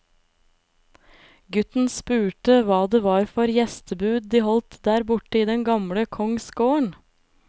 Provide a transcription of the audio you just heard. Gutten spurte hva det var for gjestebud de holdt der borte i den andre kongsgården.